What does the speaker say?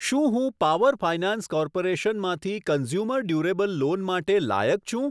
શું હું power finance corporation માંથી કન્ઝ્યુમર ડુરેબલ લોન માટે લાયક છું?